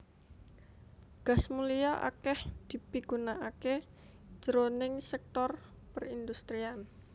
Gas mulia akèh dipigunakaké jroning sèktor perindustrian